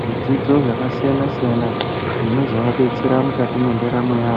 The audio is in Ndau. zvidzidzo zvakasiyana siyana zvinozoabetsera mukati mwendaramo yawo